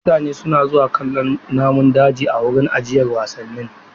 Mutane suna zuwa kallon namun daji a wurin ajiyar wasannin.